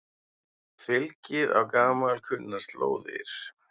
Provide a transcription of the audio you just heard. Fylgið á gamalkunnar slóðir